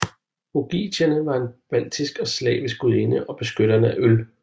Raugutiene var en baltisk og slavisk gudinde og beskytteren af øl